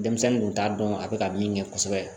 Denmisɛnnin kun t'a dɔn a bɛ ka min kɛ kosɛbɛ